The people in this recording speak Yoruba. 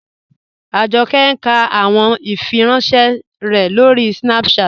Ajọkẹ̀ n kà àwọn ìfìrànṣẹ̀ rẹ̀ lórí Snapchat.